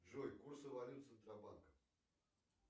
джой курсы валют центробанка